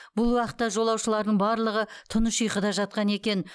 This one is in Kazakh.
бұл уақытта жолаушылардың барлығы тыныш ұйқыда жатқан екен